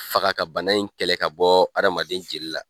Faga ka bana in kɛlɛ ka bɔ hadamaden jeli la